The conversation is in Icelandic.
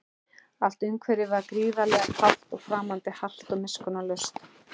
Allt umhverfið var gríðarlega kalt og framandi, hart og miskunnarlaust.